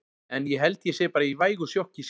En ég held ég sé bara í vægu sjokki sjálfur.